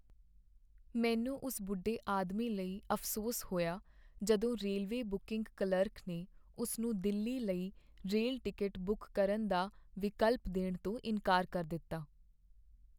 ਮੈਨੂੰ ਉਸ ਬੁੱਢੇ ਆਦਮੀ ਲਈ ਅਫ਼ਸੋਸ ਹੋਇਆ ਜਦੋਂ ਰੇਲਵੇ ਬੁਕੀੰਗ ਕਲਰਕ ਨੇ ਉਸ ਨੂੰ ਦਿੱਲੀ ਲਈ ਰੇਲ ਟਿਕਟ ਬੁੱਕ ਕਰਨ ਦਾ ਵਿਕਲਪ ਦੇਣ ਤੋਂ ਇਨਕਾਰ ਕਰ ਦਿੱਤਾ।